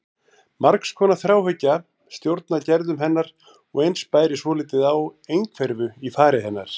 Margs konar þráhyggja stjórnaði gerðum hennar og eins bæri svolítið á einhverfu í fari hennar.